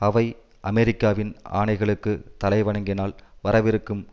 அவை அமெரிக்காவின் ஆணைகளுக்கு தலைவணங்கினால் வரவிருக்கும்